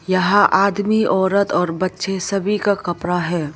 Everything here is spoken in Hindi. यहां आदमी औरत और बच्चे सभी का कपड़ा है।